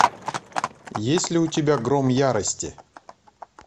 есть ли у тебя гром ярости